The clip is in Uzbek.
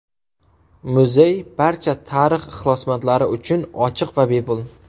Muzey barcha tarix ixlosmandlari uchun ochiq va bepul.